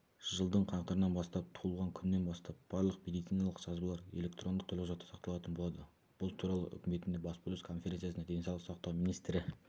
жылдың қаңтарынан бастап туылғаннан күннен бастап барлық медициналық жазбалар электрондық төлқұжатта сақталатын болады бұл туралы үкіметіндегі баспасөз конференциясында денсаулық сақтау министрі